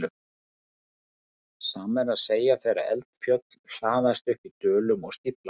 Sama er að segja þegar eldfjöll hlaðast upp í dölum og stífla þá.